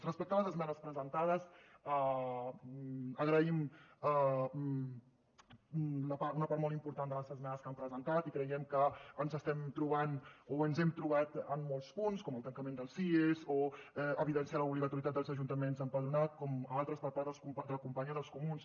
respecte a les esmenes presentades agraïm una part molt important de les esmenes que han presentat i creiem que ens estem trobant o ens hem trobat en molts punts com el tancament dels cies o evidenciar l’obligatorietat dels ajuntaments a empadronar com altres per part de la companya dels comuns